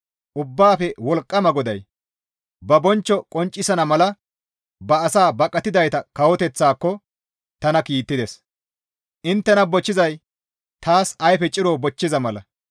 Ubbaafe Wolqqama GODAY: ba bonchcho qonccisana mala ba asaa bonqqidayta kawoteththaako tana kiittides; inttena bochchizay taas ayfe ciro bochchiza mala.